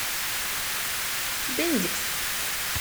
бендикс